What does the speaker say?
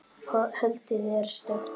Holdið er stökkt.